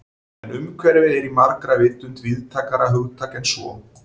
En umhverfi er í margra vitund víðtækara hugtak en svo.